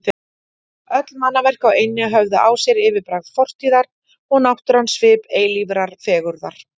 Öll mannaverk á eynni höfðu á sér yfirbragð fortíðar og náttúran svip eilífrar fegurðar.